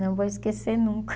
Não vou esquecer nunca.